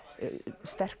sterkur